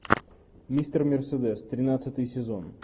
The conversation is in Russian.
мистер мерседес тринадцатый сезон